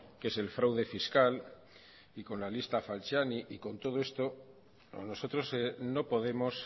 que es el fraude fiscal y con la lista falciani y con todo esto nosotros no podemos